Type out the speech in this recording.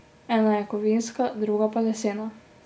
Ena je kovinska, druga pa lesena.